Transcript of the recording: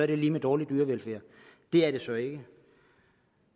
det lig med dårlig dyrevelfærd det er det så ikke